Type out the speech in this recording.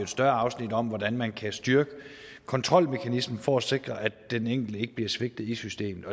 større afsnit om hvordan man kan styrke kontrolmekanismen for at sikre at den enkelte ikke bliver svigtet i systemet